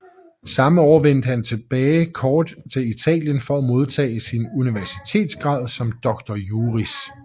Samme år vendte han kort tilbage til Italien for at modtage sin universitetsgrad som doctor juris